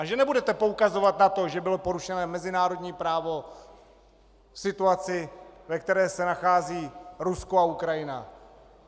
A že nebudete poukazovat na to, že bylo porušeno mezinárodní právo v situaci, ve které se nachází Rusko a Ukrajina.